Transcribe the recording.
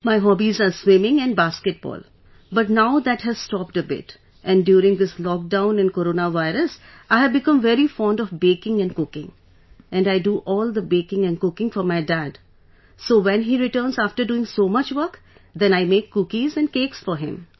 My hobbies are swimming and basketball but now that has stopped a bit and during this lockdown and corona virus I have become very fond of baking and cooking and I do all the baking and cooking for my dad so when he returns after doing so much work then I make cookies and cakes for him